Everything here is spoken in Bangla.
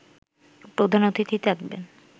প্রধান অতিথি থাকবেন